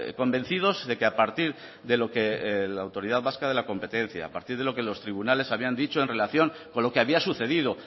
convencidos de que a partir de lo que la autoridad vasca de la competencia a partir de lo que los tribunales habían dicho en relación con lo que había sucedido